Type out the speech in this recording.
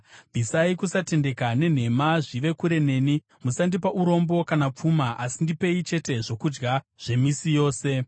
Bvisai kusatendeka nenhema zvive kure neni; musandipa urombo kana pfuma, asi ndipei chete zvokudya zvemisi yose.